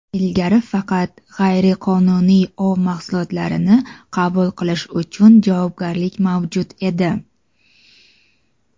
Ilgari faqat g‘ayriqonuniy ov mahsulotlarini qabul qilish uchun javobgarlik mavjud edi.